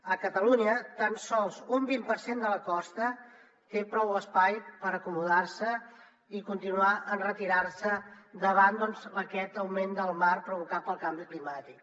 a catalunya tan sols un vint per cent de la costa té prou espai per acomodar se i continuar enretirant se davant aquest augment del mar provocat pel canvi climàtic